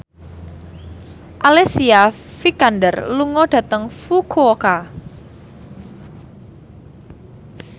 Alicia Vikander lunga dhateng Fukuoka